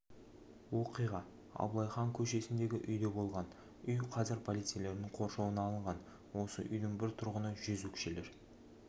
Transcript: оқиға абылай хан көшесіндегі үйде болған үй қазір полицейлердің қоршауына алынған осы үйдің бір тұрғыны жезөкшелер